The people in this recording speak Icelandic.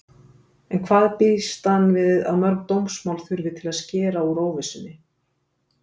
En hvað býst hann við að mörg dómsmál þurfi til að skera úr óvissunni?